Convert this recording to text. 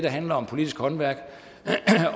handler om politisk håndværk